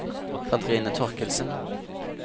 Karine Thorkildsen